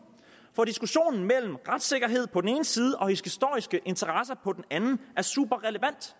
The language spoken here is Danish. hvor diskussionen om retssikkerhed på den ene side og historisk interesse på den anden er super relevant